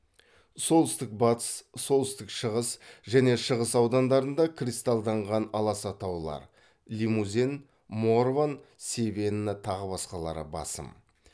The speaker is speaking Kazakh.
солтүстік батыс солтүстік шығыс және шығыс аудандарында кристалданған аласа таулар лимузен морван севенна тағы басқалары басым